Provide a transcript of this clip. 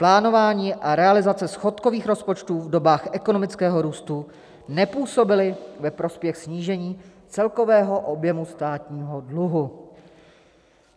Plánování a realizace schodkových rozpočtů v dobách ekonomického růstu nepůsobily ve prospěch snížení celkového objemu státního dluhu.